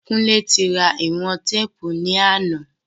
Kúnlé ti ra ìwọ̀n téèpù ní àná